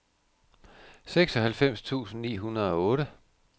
seksoghalvfems tusind ni hundrede og otte